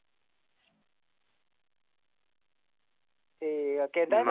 ਤੇ ਅਕੇਲਾ .